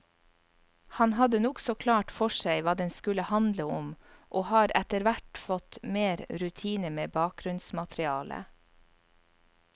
Han hadde nokså klart for seg hva den skulle handle om, og har etterhvert fått mer rutine med bakgrunnsmaterialet.